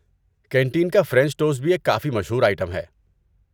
Canteen کا French toast بھی ایک کافی مشہور آئٹم ہے۔